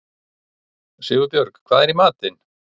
Sigurbjörg, hvað er í matinn?